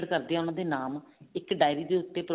ਕਰਦੇ ਆ ਉਹਨਾ ਦੇ ਨਾਮ ਇੱਕ ਡਾਇਰੀ ਦੇ ਉੱਤੇ